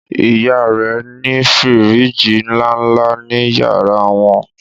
ìyá rẹ ní firiji nlánlá ní yàrá wọn